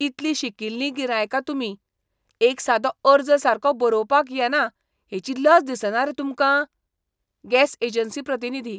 इतलीं शिकिल्लीं गिरायकां तुमी. एक सादो अर्ज सारको बरोवपाक येना हेची लज दिसना रे तुमकां? गॅस एजन्सी प्रतिनिधी